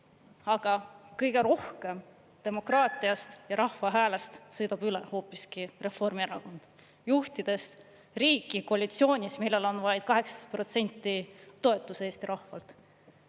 Aga kõige rohkem demokraatiast ja rahva häälest sõidab üle hoopiski Reformierakond, juhtides riiki koalitsioonis, millal on vaid 18% toetus Eesti rahvalt.